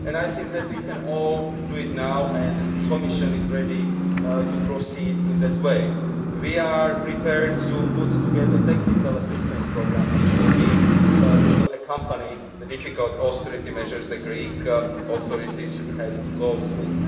I think we can all do it now, and the Commission is ready to proceed in that way. We are prepared to put together technical assistance programmes which will accompany the difficult austerity measures the Greek authorities have to go through.